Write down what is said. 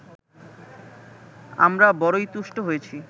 আমরা বড়ই তুষ্ট হয়েছি